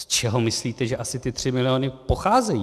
Z čeho myslíte, že asi ty 3 miliony pocházejí?